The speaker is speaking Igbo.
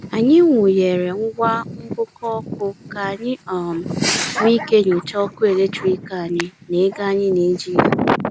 Anyị wụnyeere ngwa ngụkọ ọkụ ka anyị um nwee ike nyochaa ọkụ eletrik anyị na ego anyị na-eji ya.